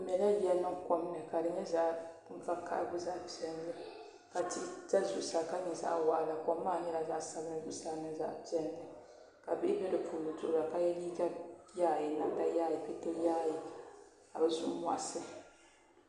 Bi mɛla yiya niŋ kom ni ka di nyɛ zaɣ vakaɣa mini zaɣ piɛlli ka tihi sa zuɣusaa ka nyɛ zaɣ waɣala kom maa nyɛ zaɣ piʋlli ka bihi bɛ di puuni duɣura ka yɛ liiga yaayɛ namda yaayɛ pɛto yaayɛ ka bi zuɣu moɣisi